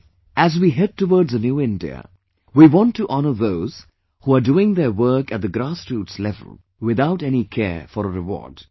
Today as we head towards a new India, in which we want to honour those who are doing their work at the grassroot level without any care for a reward